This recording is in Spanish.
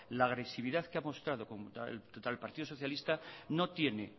la agresividad que ha mostrado contra el partido socialista no tiene